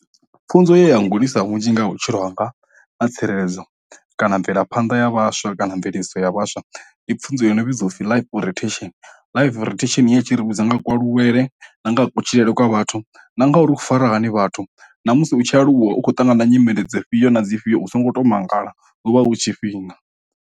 Pfunzo ye ya ngudisa vhunzhi nga vhutshilo hanga ha tsireledzo kana mvelaphanḓa ya vhaswa kana mveledziso ya vhaswa, ndi pfunzo yo no vhidziwa u pfi life orientation life orientation ya tshi ri vhudza nga ku aluwele na nga ha kutshilele kwa vhathu na ngauri u fara hani vhathu na musi u tshi aluwa u khou ṱangana na nyimele dzo fhio na dzi fhio u songo to mangala hu vha hu tshifhinga.